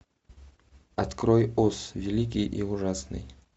открой оз великий и ужасный